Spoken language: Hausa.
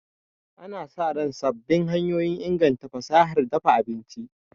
Ana sa ran sabbin hanyoyin inganta fasahar dafa abinci.